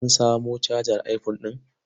Sun samo cajar iphone ɗin?